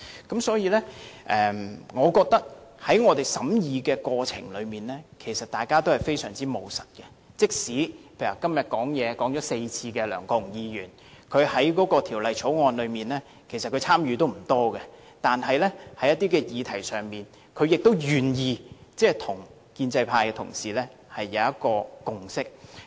因此，我認為在我們的審議過程中，其實大家也非常務實，例如今天已發言4次的梁國雄議員，即使他對《條例草案》的參與並不多，但在一些議題上，他亦願意與建制派同事達成共識。